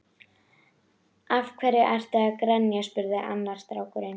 Af hverju ertu að grenja? spurði annar strákurinn.